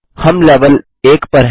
हम लेवेल 1 पर हैं